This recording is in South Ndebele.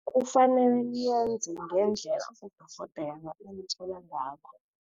Kufanele nenze ngendlela udorhodere anitjela ngakho.